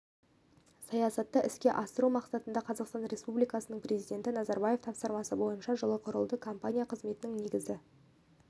саясатты іске асыру мақсатында қазақстан республикасының президенті назарбаевтың тапсырмасы бойынша жылы құрылды компания қызметінің негізгі